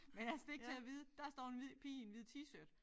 Men altså det ikke til at vide. Der står en hvid pige i en hvid t-shirt